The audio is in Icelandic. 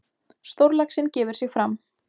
Stórlaxinn gefur sig fram.